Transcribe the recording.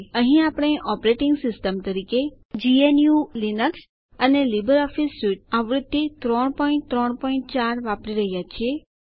અહીં આપણે operating system તરીકે જીએનયુ લીનક્સ અને લીબર ઓફીસ સ્યુટ આવૃત્તિ ૩૩૪ વાપરી રહ્યા છીએ